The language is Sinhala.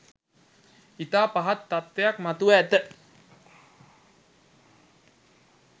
ඉතා පහත් තත්වයක් මතුව ඇත